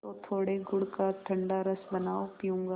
तो थोड़े गुड़ का ठंडा रस बनाओ पीऊँगा